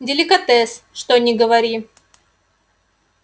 деликатес что ни говори